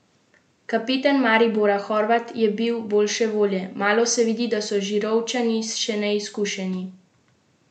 Kapetan Maribora Horvat je bil boljše volje: 'Malo se vidi, da so Žirovničani še neizkušeni.